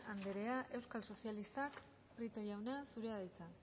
anderea euskal sozialistak prieto jauna zurea da hitza